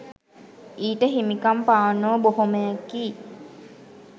ඊට හිමිකම් පාන්නෝ බොහොමයකි